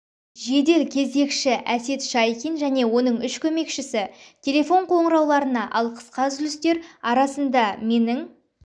жедел кезекші әсет шайкин және оның үш көмекшісі телефон қоңырауларына ал қысқа үзілістер арасында менің